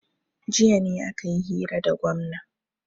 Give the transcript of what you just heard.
jiya ne aka yi hira da gwamna